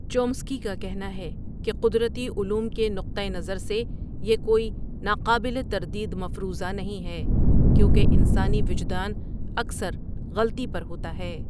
Chomsky کا کہنا ہے کہ قدرتی علوم کے نقطہ نظر سے یہ کوئی ناقابل تردید مفروضہ نہیں ہے، کیونکہ انسانی وجدان اکثر غلطی پر ہوتا ہے۔